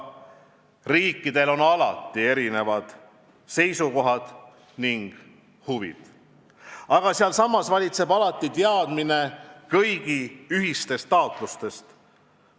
Riikidel on alati erinevad seisukohad ning huvid, aga samas valitseb alati teadmine kõigi ühistest taotlustest.